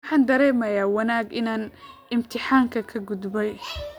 Waxaan dareemayaa wanaag inaan imtixaankii ka gudbay